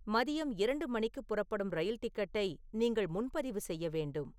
மதியம் இரண்டு மணிக்கு புறப்படும் ரயில் டிக்கெட்டை நீங்கள் முன்பதிவு செய்ய வேண்டும்